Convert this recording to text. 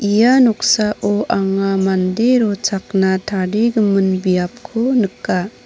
ia noksao anga mande rochakna tarigimin biapko nika.